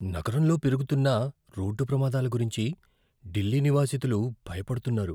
నగరంలో పెరుగుతున్న రోడ్డు ప్రమాదాల గురించి ఢిల్లీ నివాసితులు భయపడుతున్నారు.